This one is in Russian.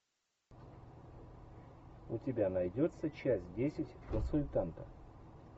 у тебя найдется часть десять консультанта